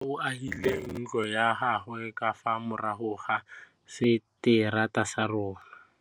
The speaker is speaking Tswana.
Nkgonne o agile ntlo ya gagwe ka fa morago ga seterata sa rona.